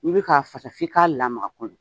N'i bɛ ka fasa f'i k'a lamaga a kɔnɔ